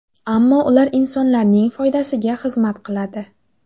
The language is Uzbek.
Ammo ular insonlarning foydasiga xizmat qiladi.